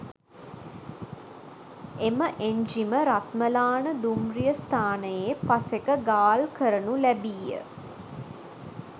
එම එංජිම රත්මලාන දුම්රිය ස්ථානයේ පසෙක ගාල්කරනු ලැබීය